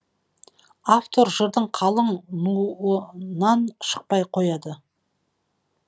автор жырдың қалың нуынан шықпай қояды